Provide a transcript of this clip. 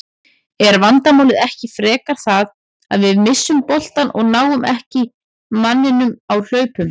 Er vandamálið ekki frekar það að við misstum boltann og náðum ekki manninum á hlaupum?